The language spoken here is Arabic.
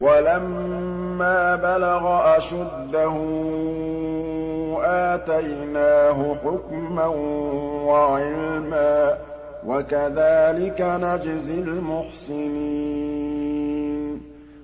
وَلَمَّا بَلَغَ أَشُدَّهُ آتَيْنَاهُ حُكْمًا وَعِلْمًا ۚ وَكَذَٰلِكَ نَجْزِي الْمُحْسِنِينَ